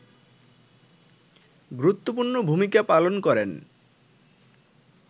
গুরুত্বপূর্ণ ভূমিকা পালন করেন